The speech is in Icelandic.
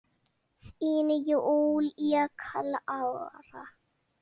Þín, Júlía Klara.